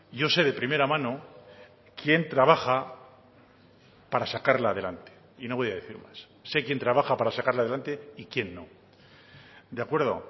yo sé de primera mano quien trabaja para sacarla adelante y no voy a decir más se quien trabaja para sacarla adelante y quién no de acuerdo